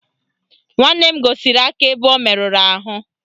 Nwanne m gosiri m aka ebe o merụrụ ahụ